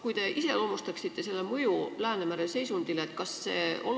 Ehk te iseloomustate tulevase seaduse mõju Läänemere seisundile?